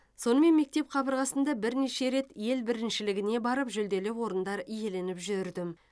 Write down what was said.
сонымен мектеп қабырғасында бірнеше рет ел біріншілігіне барып жүлделі орындар иеленіп жүрдім